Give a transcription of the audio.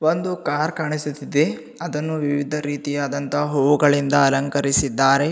ಒಂದು ಕಾರ್ ಕಾಣಿಸುತ್ತದೆ ಅದನ್ನು ವಿವಿಧ ರೀತಿಯಾದಂತ ಹೂವುಗಳಿಂದ ಅಲಂಕರಿಸಿದ್ದಾರೆ.